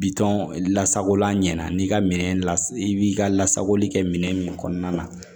Bitɔn lasagola ɲɛna n'i ka minɛn la i b'i ka lasagoli kɛ minɛn min kɔnɔna na